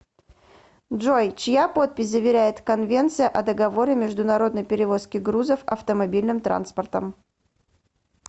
джой чья подпись заверяет конвенция о договоре международной перевозки грузов автомобильным транспортом